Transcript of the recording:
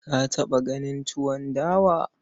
Ka taɓa ganin tuwon dawa?